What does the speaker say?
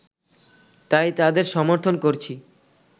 তাই তাদের সমর্থন করছি